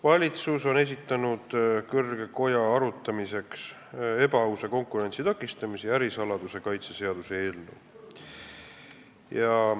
Valitsus on esitanud kõrgele kojale arutamiseks ebaausa konkurentsi takistamise ja ärisaladuse kaitse seaduse eelnõu.